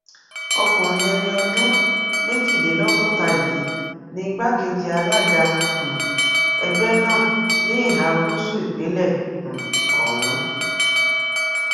ọkùnrin ẹni ọdún méjìlélọgọta yìí ni igbákejì alága um ẹgbẹ náà ní ìhà gúúsù ìpínlẹ um ọhún